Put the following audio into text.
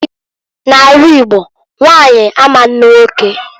N'ala Igbo nwanyi ama anụ unwoke.